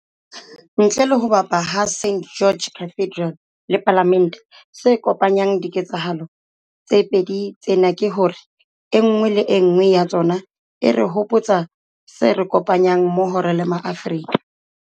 Ntle le ho bapa ha St George's Cathedral le Palamente, se kopanyang diketsahalo tse pedi tsena ke hore e nngwe le e nngwe ya tsona e re hopotsa se re kopanyang mmoho re le ma